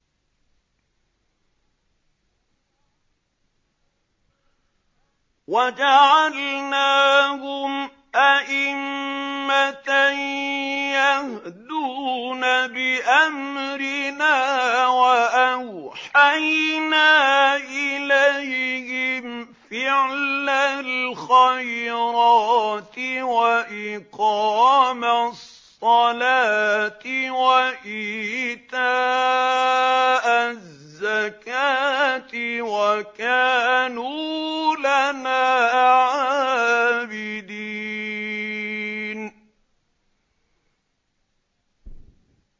وَجَعَلْنَاهُمْ أَئِمَّةً يَهْدُونَ بِأَمْرِنَا وَأَوْحَيْنَا إِلَيْهِمْ فِعْلَ الْخَيْرَاتِ وَإِقَامَ الصَّلَاةِ وَإِيتَاءَ الزَّكَاةِ ۖ وَكَانُوا لَنَا عَابِدِينَ